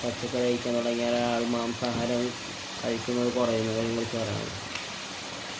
പച്ചക്കറി കഴിക്കാന്‍ തുടങ്ങിയാല്‍ അയാള്‍ മാംസാഹാരം കഴിക്കുന്നത്‌ കുറയുന്നതിനെ കുറിച്ച് പറയാനുള്ളത്